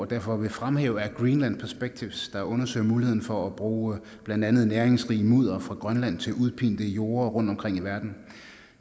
derfor vil fremhæve er greenland perspective der undersøger muligheden for at bruge blandt andet næringsrig mudder fra grønland til udpinte jorde rundtomkring i verden